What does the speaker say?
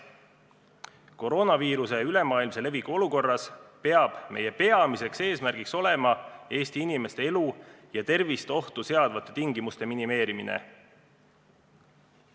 Koroonaviiruse ülemaailmse leviku olukorras peab meie peamiseks eesmärgiks olema Eesti inimeste elu ja tervist ohtu seadvate tingimuste minimeerimine.